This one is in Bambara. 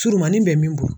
Surumani bɛ min bɔ